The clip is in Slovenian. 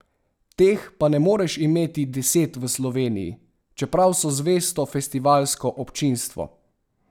Teh pa ne moreš imeti deset v Sloveniji, čeprav so zvesto festivalsko občinstvo.